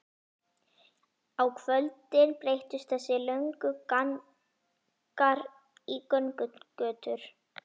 Á kvöldin breyttust þessir löngu gangar í göngugötur.